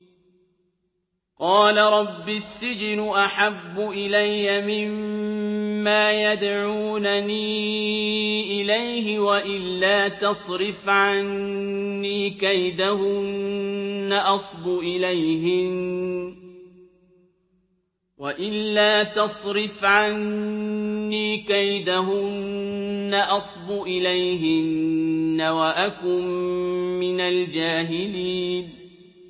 قَالَ رَبِّ السِّجْنُ أَحَبُّ إِلَيَّ مِمَّا يَدْعُونَنِي إِلَيْهِ ۖ وَإِلَّا تَصْرِفْ عَنِّي كَيْدَهُنَّ أَصْبُ إِلَيْهِنَّ وَأَكُن مِّنَ الْجَاهِلِينَ